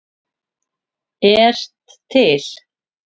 ert til!